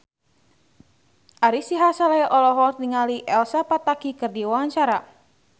Ari Sihasale olohok ningali Elsa Pataky keur diwawancara